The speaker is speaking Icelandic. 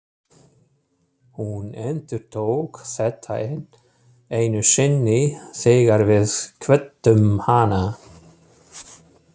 Hún endurtók þetta enn einu sinni þegar við kvöddum hana.